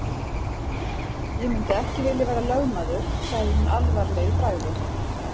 Ég myndi ekki vilja vera lögmaður sagði hún alvarleg í bragði.